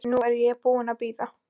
Nú er ég búin að bíða.